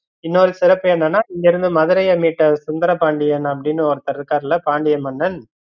இன்னொரு சிறப்பு என்னனா இங்க இருந்து மதுரைய மீட்ட சுந்தரபாண்டியன் அப்படின்னு ஒருத்தர் இருக்காருல்ல பாண்டிய மன்னன்